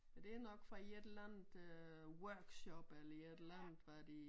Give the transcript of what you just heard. Men det nok fra et eller andet øh workshop eller et eller andet hvad de